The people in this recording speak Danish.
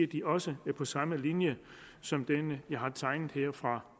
de også er på samme linje som den jeg har tegnet her fra